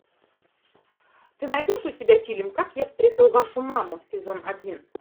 ты найдешь у себя фильм как я встретил вашу маму сезон один